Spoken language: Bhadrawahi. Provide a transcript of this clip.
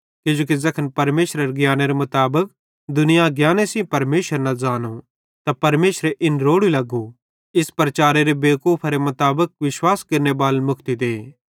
किजोकि ज़ैखन परमेशरेरे ज्ञानेरे मुताबिक दुनियां ज्ञान सेइं परमेशर न ज़ानो त परमेशरे इन रोड़ू लग्गू इस प्रचारेरे बेवकूफरे मुताबिक विश्वास केरनेबालन मुक्ति दे